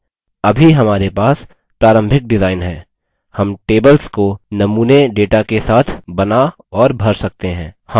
अभी हमारे पास प्रारंभिक डिजाइन है हम tables को नमूने data के साथ now और भर सकते हैं